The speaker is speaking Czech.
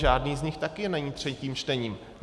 Žádný z nich taky není třetím čtením.